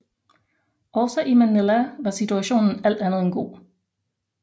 Også i Manila var situationen alt andet end god